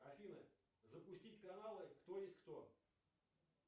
афина запустить каналы кто есть кто